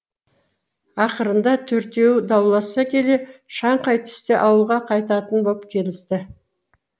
ақырында төртеуі дауласа келе шаңқай түсте ауылға қайтатын боп келісті